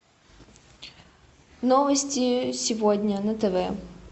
новости сегодня на тв